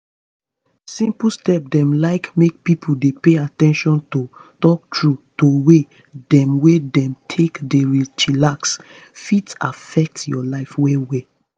simple step dem like make pipo dey pay at ten tion to talk true to way dem wey dem take dey chillax fit affect your life well well.